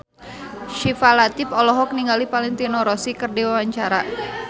Syifa Latief olohok ningali Valentino Rossi keur diwawancara